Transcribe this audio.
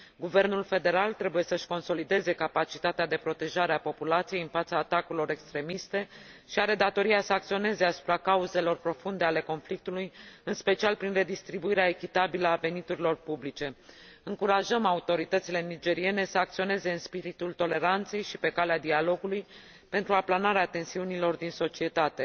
Guvernul federal trebuie să își consolideze capacitatea de protejare a populației în fața atacurilor extremiste și are datoria să acționeze asupra cauzelor profunde ale conflictului, în special prin redistribuirea echitabilă a veniturilor publice. Încurajăm autoritățile nigeriene să acționeze în spiritul toleranței și pe calea dialogului, pentru aplanarea tensiunilor din societate.